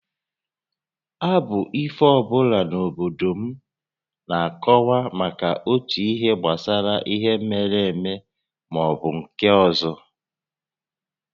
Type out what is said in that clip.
Abụ ifo ọ bụla n’obodo m na-akọwa maka otu ihe gbasara ihe mere eme maọbụ nke ọzọ